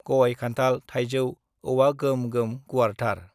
गय, खान्थाल, थाइजौ, औवा गोम-गोम गुवारथार।